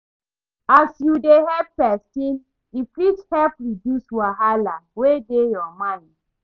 As yu dey help pesin, e fit help reduce wahala wey dey yur mind